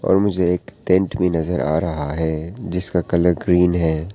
और मुझे एक टेंट भी नजर आ रहा है जिसका कलर ग्रीन है।